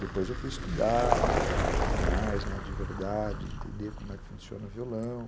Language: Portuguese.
Depois eu fui estudar um pouco mais, de verdade, entender como é que funciona o violão.